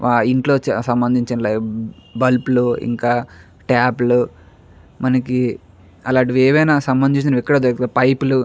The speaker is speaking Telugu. ఆ ఇంట్లో సమబందించి బల్బులు ఇంకా టాప్ లు మనకి అలాంటివి యేవైనా సంబందించినవి పైపూలు --